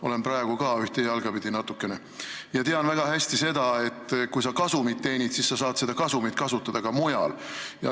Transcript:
Olen praegugi natuke, ühte jalga pidi, ja tean väga hästi seda, et kui sa teenid kasumit, siis sa saad seda kasutada ka mujal.